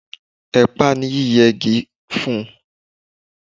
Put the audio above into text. Ẹ pá nípa yí yẹ gi fun